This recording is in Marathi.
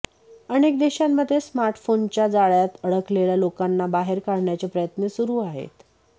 अनेक देशांमध्ये स्मार्टफोनच्या जाळय़ात अडकलेल्या लोकांना बाहेर काढण्याचे प्रयत्न सुरू आहेत